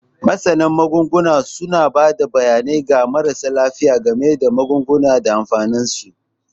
Masana Magunguna suna ba da bayanai ga marasa lafiya game da magungunan da amfaninsu.